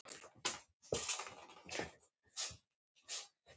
Þessi blíða rödd.